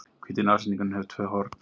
Hvíti nashyrningurinn hefur tvö horn.